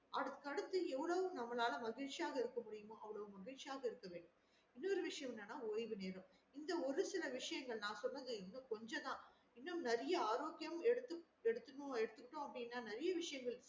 அதுக்கு அடுத்துஎவ்ளோ நம்மளால மகிழ்ச்சியா இருக்க முடியுமோ அவ்ளோ மகிழ்ச்சியாக இருக்க வேண்டும் இன்னொரு விஷயம் என்னன்னா ஓய்வு நேரம் இந்த ஒரு சில விஷயங்கள் நான் சொன்னது கொஞ்சம் தா இன்னும் ஆரோக்கியம் எடுத்தணும் எடுத்துக்குறோம் அப்டின்னா நெறைய விசையங்கள்